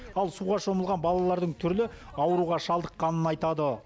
ал суға шомылған балалардың түрлі ауруға шалдыққанын айтады